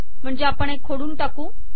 म्हणजे आपण हे खोडून टाकू